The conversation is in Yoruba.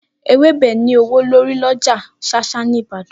Ewébe ní ​​ówó lórí lọjà shasha ní Ìbàdàn.